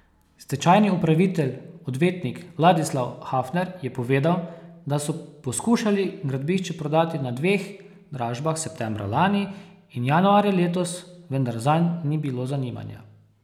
Stečajni upravitelj, odvetnik Ladislav Hafner, je povedal, da so poskušali gradbišče prodati na dveh dražbah septembra lani in januarja letos, vendar zanj ni bilo zanimanja.